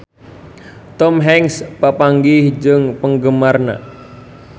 Tom Hanks papanggih jeung penggemarna